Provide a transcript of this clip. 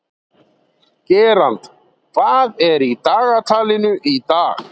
Gerald, hvað er í dagatalinu í dag?